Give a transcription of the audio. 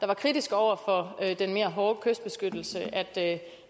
var kritiske over for den mere hårde kystbeskyttelse at